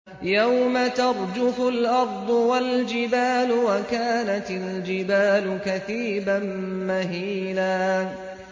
يَوْمَ تَرْجُفُ الْأَرْضُ وَالْجِبَالُ وَكَانَتِ الْجِبَالُ كَثِيبًا مَّهِيلًا